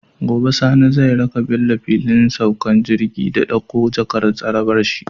Gobe Sani zai raka Bello fillin saukar jirgi ya ɗakko jakar tsarabar shi